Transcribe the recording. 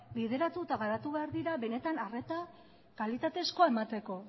bideratu eta garatu behar dira benetan arreta kalitatezkoa emateko